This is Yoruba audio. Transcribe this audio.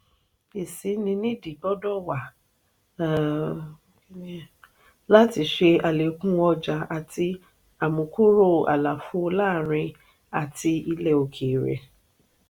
isini nídi gbọdọ wà um láti ṣe alekun ọjà àti amukuro àlàfo láàrin àti ilè òkèèrè.